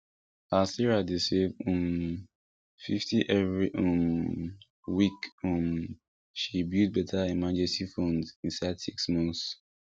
as sarah dey save um fifty every um week um she build better emergency fund inside six months